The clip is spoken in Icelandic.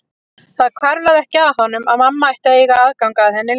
Það hvarflaði ekki að honum að mamma ætti að eiga aðgang að henni líka.